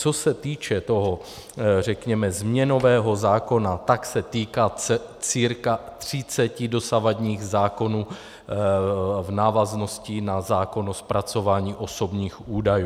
Co se týče toho, řekněme, změnového zákona, tak se týká cca 30 dosavadních zákonů v návaznosti na zákon o zpracování osobních údajů.